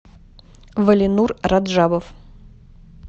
валинур раджабов